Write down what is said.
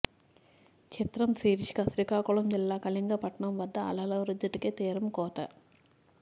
చిత్రం శీర్షిక శ్రీకాకుళం జిల్లా కళింగపట్నం వద్ద అలల ఉద్ధృతికి తీరం కోత